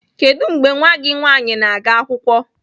Kedu mgbe nwa gị nwanyị na-aga akwụkwọ?